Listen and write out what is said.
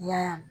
Ya